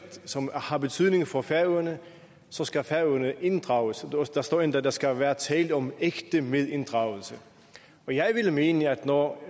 som har betydning for færøerne så skal færøerne inddrages der står endda at der skal være tale om ægte medinddragelse og jeg vil mene at når